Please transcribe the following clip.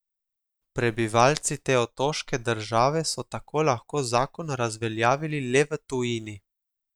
Prebivalci te otoške države so tako lahko zakon razveljavili le v tujini.